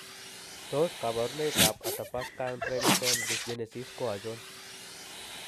Tos kabarunoik ab Athabaskan brainstem dysgenesis ko achon?